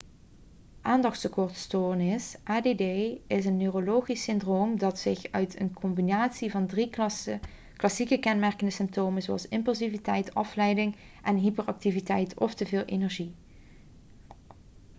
aandachtstekortstoornis add 'is een neurologisch syndroom dat zich uit in een combinatie van drie klassieke kenmerkende symptomen zoals impulsiviteit afleiding en hyperactiviteit of te veel energie